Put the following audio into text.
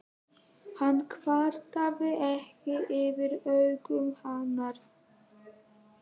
Hann kvartaði ekki yfir augum hennar.